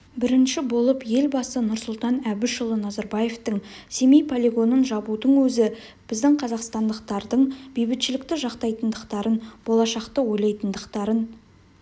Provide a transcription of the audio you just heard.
бірінші болып елбасы нұрсұлтан әбішұлы назарбаевтың семей полигонын жабудың өзі біздің қазақстандықтардың бейбітшілікті жақтайтындықтарын болашақты ойлайтындықтарын